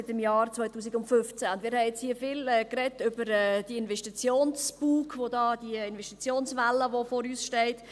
Wir haben hier viel über den «Investitionsbug», die «Investitionswelle», die uns bevorsteht, gesprochen.